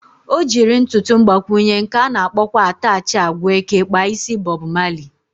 O jiri ntụtụ mgbakwụnye, nke ana akpọkwa atachị agwa eke kpa isi Bọb Mali